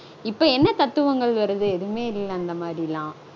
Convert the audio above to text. இப்போ என்ன தத்துவங்கள் வருது? எதுவுமே இல்ல அந்த மாதிரியெல்லாம்